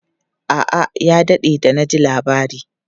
A'a, ya daɗe da na ji labari.